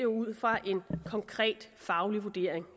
ud fra en konkret faglig vurdering